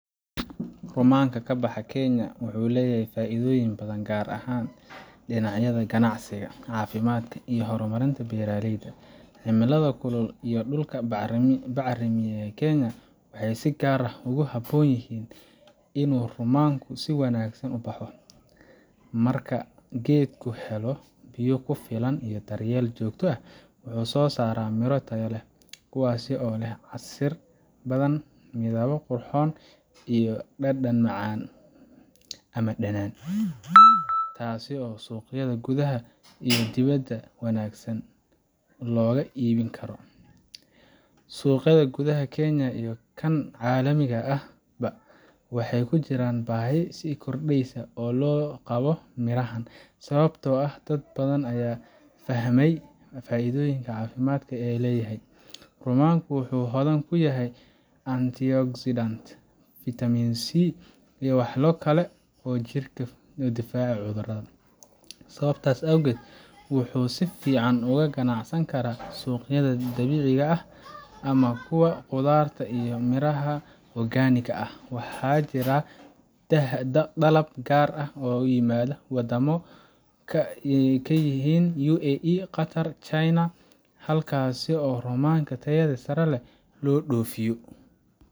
Rumaanka ka baxa Kenya wuxuu leeyahay faa’iidooyin badan, gaar ahaan dhinacyada ganacsiga, caafimaadka, iyo horumarinta beeraleyda. Cimilada kulul iyo dhulka bacrimiya ee Kenya waxay si gaar ah ugu habboon yihiin in rumaanku si wanaagsan u baxo. Marka geedku helo biyo ku filan iyo daryeel joogto ah, wuxuu soo saaraa miro tayo leh kuwaas oo leh casiir badan, midab qurxoon, iyo dhadhan macaan ama dhanaan yar, taasoo suuqyada gudaha iyo dibadda si wanaagsan loogu iibin karo. Suuqa gudaha Kenya iyo kan caalamiga ahba waxaa ka jira baahi sii kordheysa oo loo qabo mirahan, sababtoo ah dad badan ayaa fahmayaa faa’iidooyinka caafimaad ee uu leeyahay. Rumaanku wuxuu hodan ku yahay antioxidants, vitaminC, iyo walxo kale oo jirka ka difaaca cudurrada. Sababtaas awgeed, wuxuu si fiican uga ganacsan karaa suuqyada dabiiciga ah ama kuwa qudaarta iyo miraha organic ah. Waxaa jira dalab gaar ah oo ka yimaada wadamo ay ka mid yihiin UAE, Qatar, iyo China, halkaasoo rumaanka tayada sare leh loo dhoofiyo.